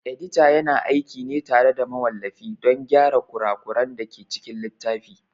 Edita yana aiki ne tare da mawallafi don gyara kura kuran dake cikin littafi